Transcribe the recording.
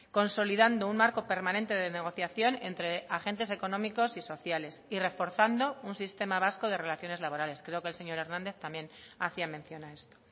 consolidando un marco permanente de negociación entre agentes económicos y sociales y reforzando un sistema vasco de relaciones laborales creo que el señor hernández también hacía mención a esto